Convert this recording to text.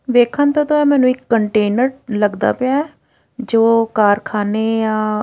ਵੇਖਣ ਤੋਂ ਤਾਂ ਮੈਨੂੰ ਇੱਕ ਕੰਟੇਨਰ ਲੱਗਦਾ ਪਿਆ ਐ ਜੋ ਕਾਰਖਾਨੇ ਜਾ --